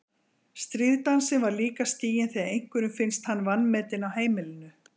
Stríðsdansinn er líka stiginn þegar einhverjum finnst hann vanmetinn á heimilinu.